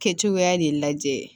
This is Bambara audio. Kɛcogoya de lajɛ